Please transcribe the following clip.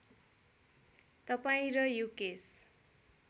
तपाईँ र युकेश